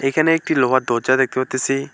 এখানে একটি লোহার দরজা দেখতে পারতাসি।